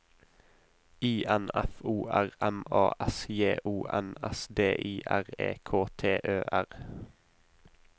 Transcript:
I N F O R M A S J O N S D I R E K T Ø R